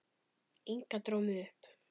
Inga dró mig upp.